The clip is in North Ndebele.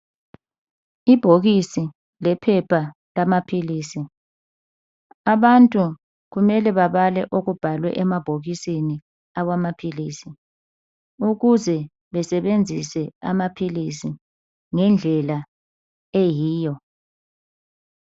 Ibhokisi lephepha lamaphilizi. Abantu kumele babale okubhalwe emabhokisini awamaphilizi ukuze besebenzise amaphilizi ngendlela eyiyo.